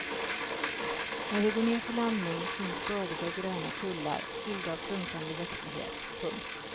När vi går ner för landning syns bördiga gröna kullar fyllda av prunkande växtlighet. punkt